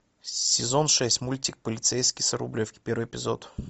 сезон шесть мультик полицейский с рублевки первый эпизод